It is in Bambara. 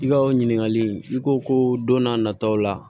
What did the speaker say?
I ka o ɲininkali in i ko ko don n'a nataw la